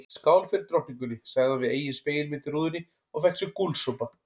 Skál fyrir drottningunni sagði hann við eigin spegilmynd í rúðunni og fékk sér gúlsopa.